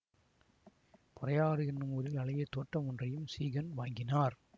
பொறையாறு என்னும் ஊரில் அழகிய தோட்டம் ஒன்றையும் சீகன் வாங்கினார்